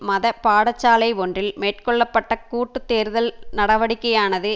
மத பாடசாலை ஒன்றில் மேற்கொள்ள பட்ட கூட்டு தேடுதல் நடவடிக்கையானது